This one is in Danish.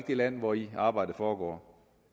det land hvori arbejdet foregår